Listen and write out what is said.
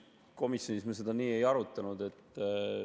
Komisjonis me seda ei arutanud.